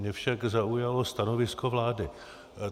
Mě však zaujalo stanovisko vlády.